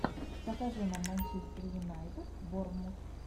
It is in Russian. покажи нам манчестер юнайтед борнмут